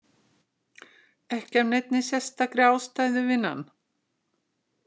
Ekki af neinni sérstakri ástæðu, vinan.